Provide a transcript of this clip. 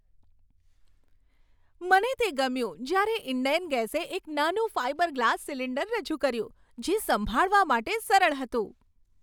મને તે ગમ્યું જ્યારે ઈન્ડેન ગેસે એક નાનું ફાઈબર ગ્લાસ સિલિન્ડર રજૂ કર્યું જે સંભાળવા માટે સરળ હતું.